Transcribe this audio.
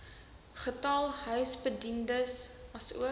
getal huisbediendes asook